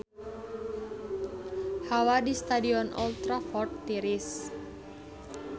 Hawa di Stadion Old Trafford tiris